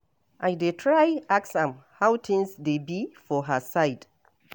I dey try ask am how things dey be for her side.